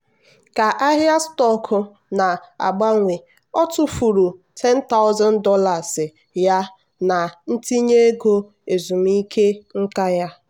ka ahịa stọkụ na-agbanwe o tụfuru $10000 ya na ntinye ego ezumike nka ya.